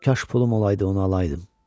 Kaş pulum olaydı onu alaydım.